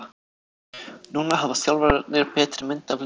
Núna hafa þjálfararnir betri mynd af liðinu.